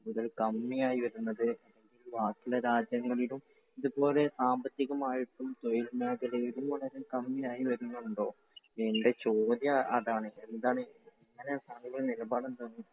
ഒരു കമ്മി ആയി വരുന്നത്? ബാക്കിയുള്ള രാജ്യങ്ങളിൽ ഇതുപോലെ സാമ്പത്തികം ആയിട്ടും തൊഴിൽമേഖലയിലും വളരെ കമ്മിയായി വരുന്നുണ്ടോ? എൻറെ ചോദ്യം അതാണ്. എന്താണ് താങ്കളുടെ നിലപാട് എന്താണ്?